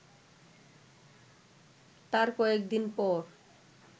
তার কয়েকদিন পর